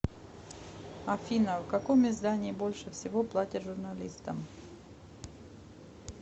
афина в каком издании больше всего платят журналистам